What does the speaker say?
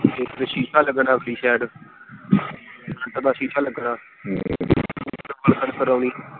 ਇੱਕ ਸ਼ੀਸ਼ਾ ਲਗਣਾ ਸ਼ੀਸ਼ਾ ਇੱਕ ਦਾ ਸ਼ੀਸ਼ਾ ਲਗਣਾ ਕਰਾਉਣੀ।